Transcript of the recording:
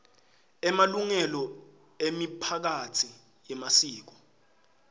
emalungelo emiphakatsi yemasiko